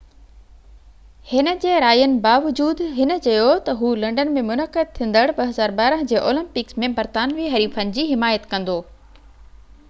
هِن جي راين باوجود هِن چيو ته هُو لنڊن ۾ منعقد ٿيندڙ 2012 جي اولمپڪس ۾ برطانوي حريفن جي حمايت ڪندو